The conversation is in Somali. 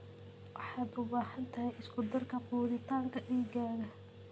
Waxaad u baahan tahay isku-darka quudinta digaagga.